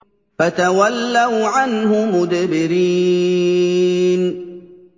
فَتَوَلَّوْا عَنْهُ مُدْبِرِينَ